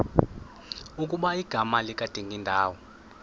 ukuba igama likadingindawo